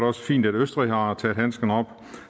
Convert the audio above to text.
også fint at østrig har taget handsken op